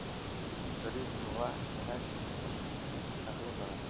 Bariiska waa dalag keena dakhli badan.